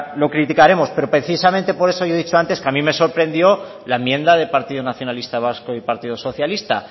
lo criticaremos pero precisamente por eso yo he dicho antes que a mí me sorprendió la enmienda del partido nacionalista vasco y partido socialista